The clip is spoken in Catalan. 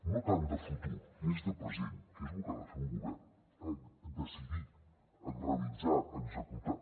no tant de futur més de present que és lo que ha de fer un govern decidir realitzar executar